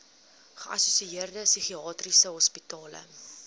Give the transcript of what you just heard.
geassosieerde psigiatriese hospitale